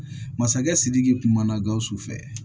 Masakɛ sidiki kuma na gawusu fɛ